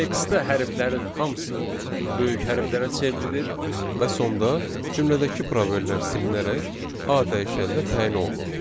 Textdə hərflərin hamısı böyük hərflərə çevrilir və sonda cümlədəki probellər silinərək A dəyişəninə təyin olunur.